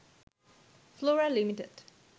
Flora limited